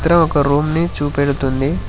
ఇది ఒక రూమ్ ని చూడుతుంది.